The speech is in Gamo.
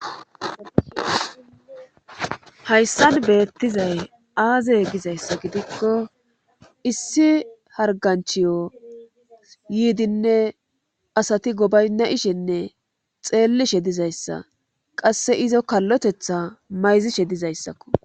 hayssan beettizay aazey gizayssa gidikko issi harganchiyo yiidinne asati gobaynna ishenne xeellishe dizayssa qasse izo kallotetha mayzishe dizayssakko